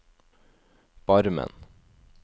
Barmen